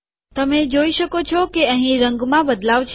તમે જોઈ શકો છો કે અહીં રંગમાં બદલાવ છે